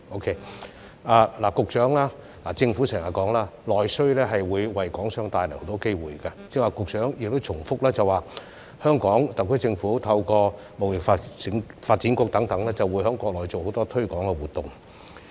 局長，政府經常表示內需會為港商帶來很多機會，局長你剛才亦重申香港特區政府會透過貿發局等在國內進行許多推廣活動。